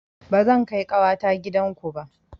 Ba zan kai ƙawata gidan ku ba